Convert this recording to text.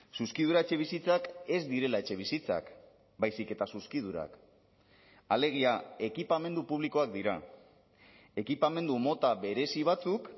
zuzkidura etxebizitzak ez direla etxebizitzak baizik eta zuzkidurak alegia ekipamendu publikoak dira ekipamendu mota berezi batzuk